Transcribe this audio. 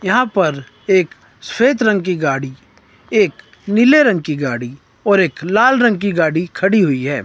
यहां पर एक स्वेत रंग की गाड़ी एक नीले रंग की गाड़ी और एक लाल रंग की गाड़ी खड़ी हुई है।